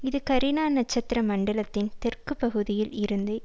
இது கரீனா நட்சத்திர மண்டலத்தின் தெற்கு பகுதியில் இருந்து